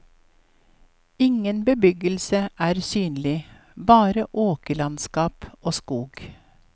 Ingen bebyggelse er synlig, bare åkerlandskap og skog.